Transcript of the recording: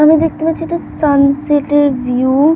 আমি দেখতে পাচ্ছি একটা সানসেট -এর ভি-উ-উ ।